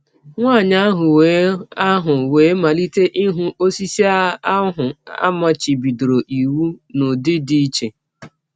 Nwanyị ahụ wee ahụ wee malite ịhụ osisi ahụ a machibidoro iwụ n’ụdị dị iche.